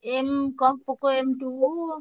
M କଣ Poco M two ।